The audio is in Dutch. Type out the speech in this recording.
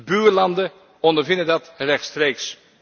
De buurlanden ondervinden dat rechtstreeks.